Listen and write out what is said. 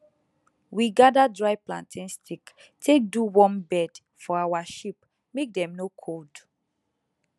we gather dry plantain stick take do warm bed for our sheep make dem no cold